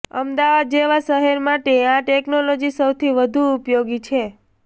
અમદાવાદ જેવા શહેર માટે આ ટેક્નોલોજી સૌથી વધુ ઉપયોગી છે